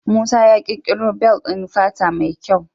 Musa ya ƙirƙoro bel ɗin fata mai kyau.